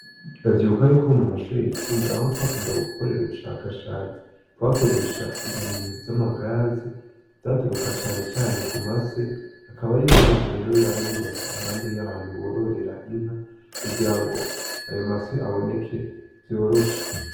Ndavyibuka yuko mumashure yisumbuye aho twakunda gukorera ubushakashatsi twakiresha ibintu vyama gaze vyaturuka canecane kumase akaba ariyo mpamvu yaba yubatse iruhande ahantu bororera inka kugira ngo ayo mase abineke vyoroshe.